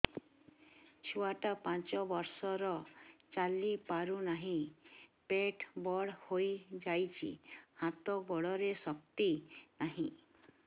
ଛୁଆଟା ପାଞ୍ଚ ବର୍ଷର ଚାଲି ପାରୁ ନାହି ପେଟ ବଡ଼ ହୋଇ ଯାଇଛି ହାତ ଗୋଡ଼ରେ ଶକ୍ତି ନାହିଁ